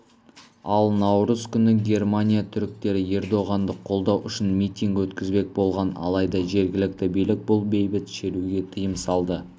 ал наурыз күні германия түріктері ердоғанды қолдау үшін митинг өткізбек болған алайда жергілікті билік бұл бейбіт шеруге тыйым салды